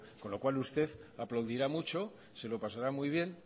con lo cual usted aplaudirá mucho se lo pasará muy bien